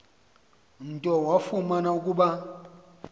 nto wafumana ukuba